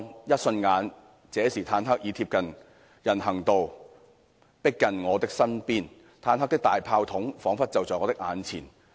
一瞬間，這時坦克已貼近人行道，迫近我的身邊，坦克的大炮筒彷彿就在我的眼前。